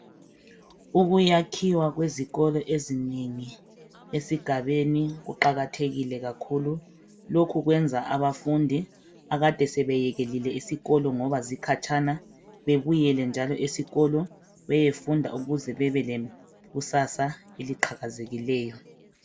Ukuyakhiwa kwezikolo ezinengi esigabeni kuqakathekile kakhulu lokhu kwenza abafundi abakade sebeyekelile isikolo ngoba zikhatshana babuyele njalo beyefunda ukuze babe lekusasa eliqhakazileyo